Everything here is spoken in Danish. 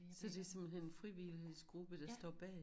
Så det simpelthen en frivillighedsgruppe der står bag?